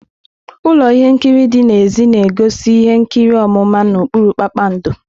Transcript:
Ụlọ ihe nkiri dị n'èzí na-egosi ihe nkiri ọmụma n'okpuru kpakpando.